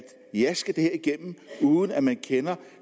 jaske det her igennem uden at man kender